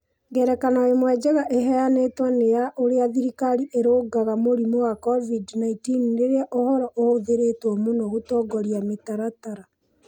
Ngerekano ĩmwe njega ĩheanĩtwo nĩ ya ũrĩa thirikari ĩrarũnga mũrimũ wa COVID-19, rĩrĩa ũhoro ũhũthĩrĩtwo mũno gũtongoria mĩtaratara.